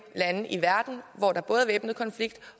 lande i verden hvor der både væbnet konflikt